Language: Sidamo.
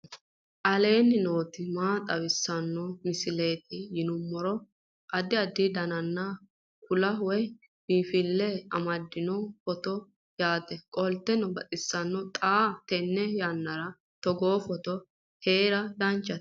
aleenni nooti maa xawisanno misileeti yinummoro addi addi dananna kuula woy biinfille amaddino footooti yaate qoltenno baxissannote xa tenne yannanni togoo footo haara danchate